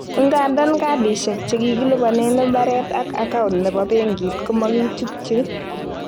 Ingandan cardishek chekikilibonen ibaret ak acount chebo benkit komokichutchi.